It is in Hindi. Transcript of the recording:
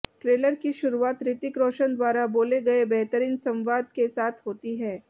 ट्रेलर की शुरुआत ऋतिक रोशन द्वारा बोले गए बेहतरीन संवाद के साथ होती है